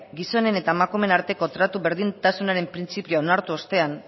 gizonen eta emakumeen arteko tratu berdintasunaren printzipio onartu ostean